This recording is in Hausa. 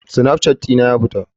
My snapchat ɗin a ya fita.